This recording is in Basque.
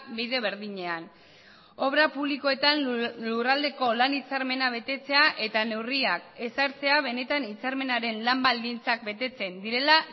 bide berdinean obra publikoetan lurraldeko lan hitzarmena betetzea eta neurriak ezartzea benetan hitzarmenaren lan baldintzak betetzen direla